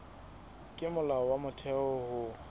ke molao wa motheo ho